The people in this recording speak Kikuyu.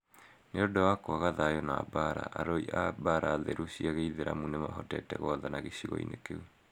Nĩ ũndũ wa kwaga thayũ na mbaara, arui a mbaara theru cia gĩithiramu nĩmahotete gwathana gĩcigo-inĩ kĩu.